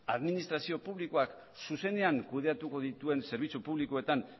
administrazio publikoak zuzenean kudeatuko dituen zerbitzu publikoetan